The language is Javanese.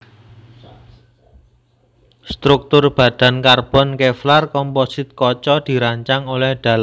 Struktur badan karbon Kevlar komposit kaca dirancang oleh Dallara